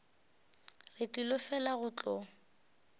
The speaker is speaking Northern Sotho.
re tlile fela go tlo